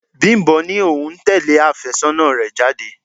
Bimbo ní òun ń tẹle afésónà rẹ̀ jáde.